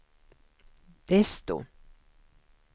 desto